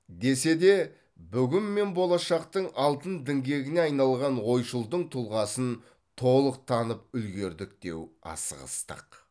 десе де бүгін мен болашақтың алтын діңгегіне айналған ойшылдың тұлғасын толық танып үлгердік деу асығыстық